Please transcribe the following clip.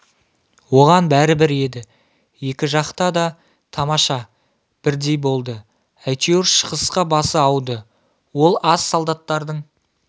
оған бәрібір еді екі жақта да тамаша бірдей болды әйтеуір шығысқа басы ауды ол аз солдаттардың